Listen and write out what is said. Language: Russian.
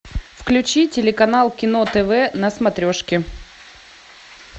включи телеканал кино тв на смотрешке